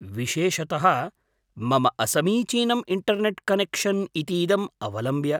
विशेषतः मम असमीचीनम् इण्टर्नेट् कनेक्शन् इतीदम् अवलम्ब्य।